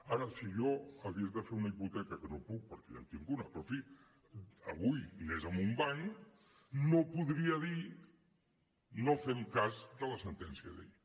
ara si jo hagués de fer una hipoteca que no puc perquè ja en tinc una però en fi si avui anés a un banc no podria dir no fem cas de la sentència d’ahir